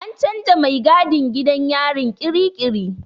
An canza mai gadin gidan yarin kirikiri.